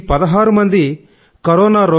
ఈ 16 మంది కొరోనా